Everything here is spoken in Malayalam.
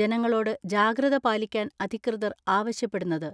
ജനങ്ങളോട് ജാഗൃത പാലിക്കാൻ അധികൃതർ ആവശ്യപ്പെടുന്നത്.